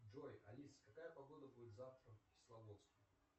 джой алиса какая погода будет завтра в кисловодске